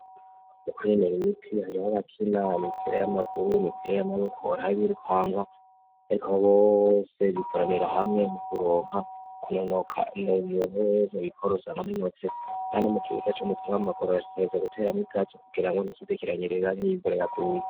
Ukunonura imitsi hari ho bakinana impera y'amaguru mipira y'amabokorabirukanga, ariko bose bikoranira hamwe mu kuronka kunonoka mu muntu weza bikorozanganunotse, kandi mu kibuka c'mupiro w'amagoro rashkeza guteramwo ibwato kugira ngo ntikizekiranyirera n'ivoreraguye.